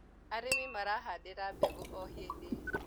arĩmi marahandira mbegũ o hĩndĩ